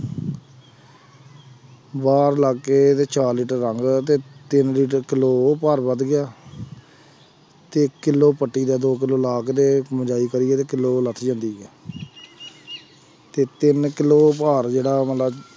ਬਾਹਰ ਲੱਗ ਕੇ ਤੇ ਚਾਰ ਲੀਟਰ ਰੰਗ ਤੇ ਤਿੰਨ ਲੀਟਰ ਕਿੱਲੋ ਉਹ ਭਾਰ ਵੱਧ ਗਿਆ ਤੇ ਕਿੱਲੋ ਪੱਤੀ ਦਾ ਦੋ ਕਿੱਲੋ lock ਦੇ ਕਿੱਲੋ ਜਾਂਦੀ ਹੈ ਤੇ ਤਿੰਨ ਕਿੱਲੋ ਭਾਰ ਜਿਹੜਾ ਮਤਲਬ